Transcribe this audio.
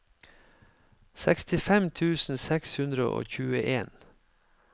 sekstifem tusen seks hundre og tjueen